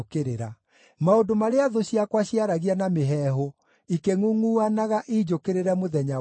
maũndũ marĩa thũ ciakwa ciaragia na mĩheehũ ikĩngʼungʼuanaga injũkĩrĩre mũthenya wothe.